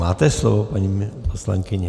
Máte slovo, paní poslankyně.